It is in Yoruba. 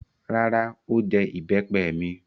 Rárá, ó jẹ ìbẹ́pẹ mi.